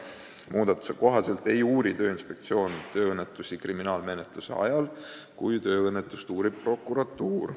Muudatuse kohaselt ei uuri Tööinspektsioon tööõnnetusi kriminaalmenetluse ajal, kui tööõnnetust uurib prokuratuur.